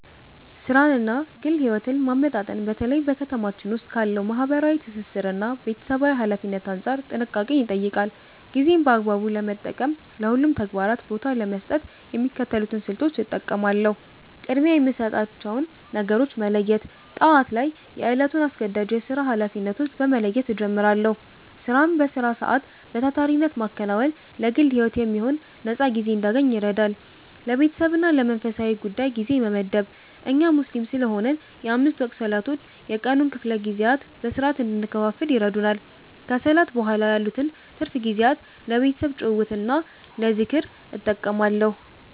ሥራንና ግል ሕይወትን ማመጣጠን በተለይ በ ከተማችን ዉስጥ ካለው ማህበራዊ ትስስርና ቤተሰባዊ ኃላፊነት አንጻር ጥንቃቄን ይጠይቃል። ጊዜን በአግባቡ ለመጠቀምና ለሁሉም ተግባራት ቦታ ለመስጠት የሚከተሉትን ስልቶች እጠቀማለሁ፦ ቅድሚያ የሚሰጣቸውን ነገሮች መለየት፦ ጠዋት ላይ የዕለቱን አስገዳጅ የሥራ ኃላፊነቶች በመለየት እጀምራለሁ። ሥራን በሥራ ሰዓት በታታሪነት ማከናወን ለግል ሕይወት የሚሆን ነፃ ጊዜ እንድናገኝ ይረዳል። ለቤተሰብና ለመንፈሳዊ ጉዳይ ጊዜ መመደብ፦ እኛ ሙስሊም ስለሆንን የአምስት ወቅት ሰላቶች የቀኑን ክፍለ ጊዜያት በሥርዓት እንድንከፋፍል ይረዱናል። ከሰላት በኋላ ያሉትን ትርፍ ጊዜያት ለቤተሰብ ጭውውትና ለዝክር እጠቀማለሁ።